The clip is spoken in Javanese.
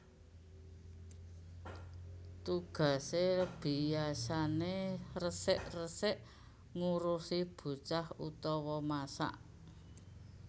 Tugasé biyasané resik resik ngurusi bocah utawa masak